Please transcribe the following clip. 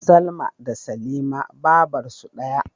Salma da Salima babarsu daya